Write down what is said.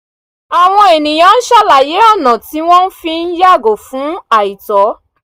àwọn ènìyàn ń sàlàyé ọ̀nà tí wọ́n fi ń yàgò fún àìtọ́